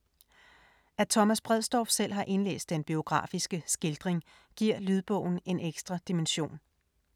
At Thomas Bredsdorff selv har indlæst den biografiske skildring, giver lydbogen en ekstra dimension.